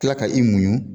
Kila ka i muɲu